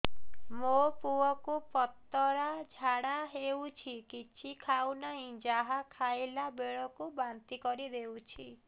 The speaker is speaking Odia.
ମୋ ପୁଅ କୁ ପତଳା ଝାଡ଼ା ହେଉଛି କିଛି ଖାଉ ନାହିଁ ଯାହା ଖାଇଲାବେଳକୁ ବାନ୍ତି କରି ଦେଉଛି